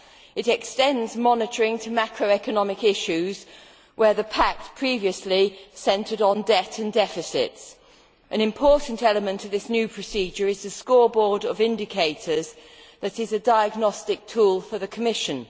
It extends monitoring to macroeconomic issues, whereas the pack previously focused on debt and deficits. An important element of this new procedure is the scoreboard of indicators that is a diagnostic tool for the Commission.